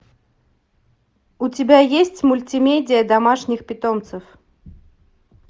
у тебя есть мультимедиа домашних питомцев